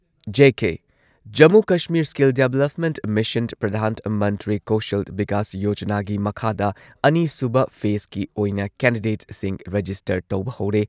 JK Jammu Kashmir skill development mission Pradhan Mantri Kaushal Vikas ꯌꯣꯖꯅꯥꯒꯤ ꯃꯈꯥꯗ ꯑꯅꯤꯁꯨꯕ ꯐꯦꯁꯀꯤ ꯑꯣꯏꯅ ꯀꯦꯟꯗꯤꯗꯦꯠꯁꯤꯡ ꯔꯦꯖꯤꯁꯇꯔ ꯇꯧꯕ ꯍꯧꯔꯦ꯫